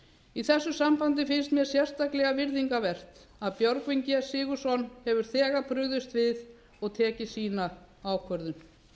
í þessu sambandi finnst mér sérstaklega virðingarvert að björgvin g sigurðsson hefur þegar brugðist við og tekið sína ákvörðun